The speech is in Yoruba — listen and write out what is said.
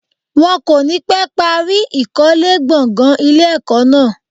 Wọ́n kò ní pẹ́ parí ìkólé gbọ̀gàn ilé ẹ̀kọ́ náà.